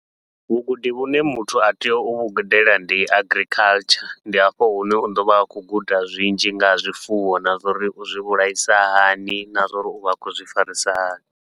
Vhugudi vhune muthu a tea uvhu gudela ndi agriculture, ndi hafho hune u ḓovha a khou guda zwinzhi nga ha zwifuwo na zwa uri u zwi vhulaisa hani, na zwa uri uvha a khou zwi farisa hani.